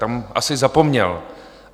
Tam asi zapomněl.